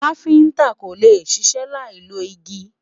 kafinta kólé ṣiṣẹ Lai ló igi